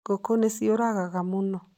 Ngũkũ nĩ ciũragaga mũno.